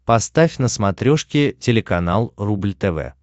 поставь на смотрешке телеканал рубль тв